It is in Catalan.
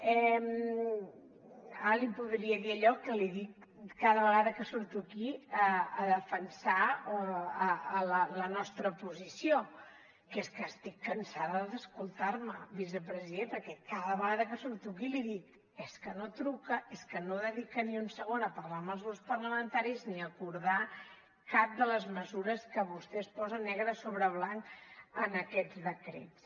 ara li podria dir allò que li dic cada vegada que surto aquí a defensar la nostra posició que és que estic cansada d’escoltar me vicepresident perquè cada vegada que surto aquí li ho dic és que no truca és que no dedica ni un segon a parlar amb els grups parlamentaris ni a acordar cap de les mesures que vostès posen negre sobre blanc en aquests decrets